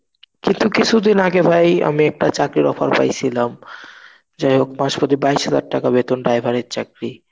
কিন্তু কিছুদিন আগে ভাই আমি একটা চাকরির offer পাইছিলাম. যাই হোক মাস প্রতি বাইশ হাজার টাকা বেতন driver এর চাকরি.